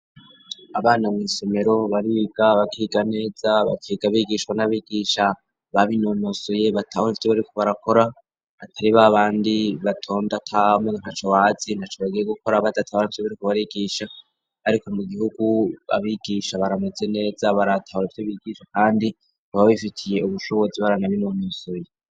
Abana mw' isomero bariga bakiga neza bakiga bigishwa n'abigisha babinonosoye batahur 'ivyo bariko barakora atari b'abandi batonda tam ntaco bazi ntaco bagiye gukora badatahura ivyo bariko barigisha, ariko mu gihugu abigisha barameze neza baratahura ivyo bigisha kandi baba bifitiye ubushobozi, baranabinonosoye.